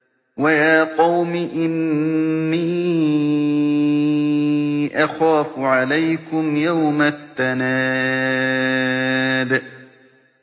وَيَا قَوْمِ إِنِّي أَخَافُ عَلَيْكُمْ يَوْمَ التَّنَادِ